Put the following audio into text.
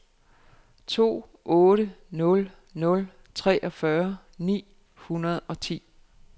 to otte nul nul treogfyrre ni hundrede og ti